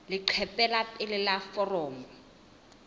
leqephe la pele la foromo